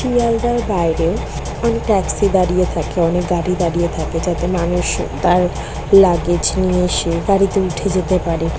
শিয়ালদার বাইরে অনেক টেক্সি দাঁড়িয়ে থাকে অনেক গাড়ি দাঁড়িয়ে থাকে যাতে মানুষ তার লাগেজ নিয়ে সে গাড়িতে উঠে যেতে পারে।